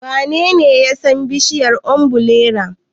Wanene ya san bishiyar ombirela?